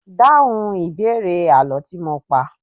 Dáhùn ìbéèrè àlọ́ tí mo pá!